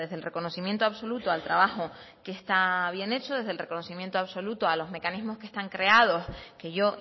el reconocimiento absoluto al trabajo que está bien hecho desde el reconocimiento absoluto a los mecanismos que están creados que yo